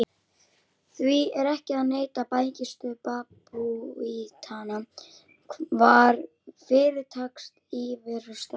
Því er ekki að neita: bækistöð babúítanna var fyrirtaks íverustaður.